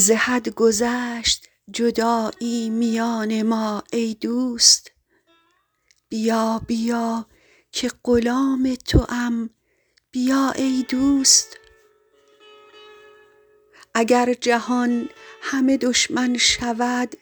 ز حد گذشت جدایی میان ما ای دوست بیا بیا که غلام توام بیا ای دوست اگر جهان همه دشمن شود